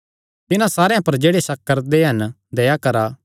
तिन्हां सारेयां पर जेह्ड़े शक करदे हन दया करा